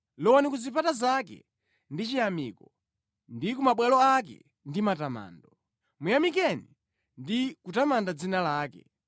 Lowani ku zipata zake ndi chiyamiko ndi ku mabwalo ake ndi matamando; muyamikeni ndi kutamanda dzina lake.